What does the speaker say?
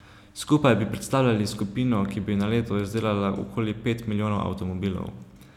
Skupaj bi predstavljali skupino, ki bi na leto izdelala okoli pet milijonov avtomobilov.